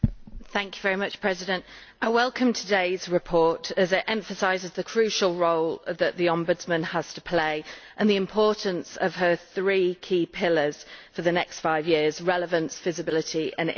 Mr President, I welcome today's report, as it emphasises the crucial role that the Ombudsman has to play and the importance of her three key pillars for the next five years relevance, visibility and impact.